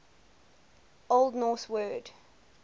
old norse word